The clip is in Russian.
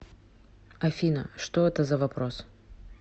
афина что это за вопрос